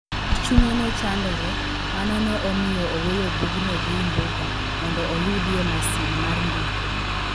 Nikech chunye ne chandore, mano ne omiyo oweyo bugno gi Imbuga mondo oyudie masin mar ndiko.